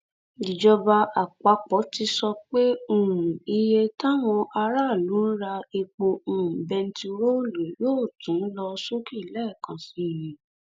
ìjọba àpapọ ti sọ pé um iye táwọn aráàlú ń ra epo um bẹntiróòlù yóò tún lọ sókè lẹẹkan sí i